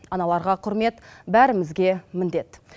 аналарға құрмет бәрімізге міндет